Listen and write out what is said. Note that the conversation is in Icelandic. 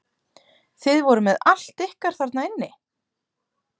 Þið voruð með allt ykkar þarna inni?